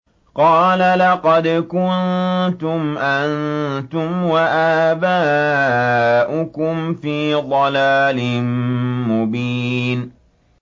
قَالَ لَقَدْ كُنتُمْ أَنتُمْ وَآبَاؤُكُمْ فِي ضَلَالٍ مُّبِينٍ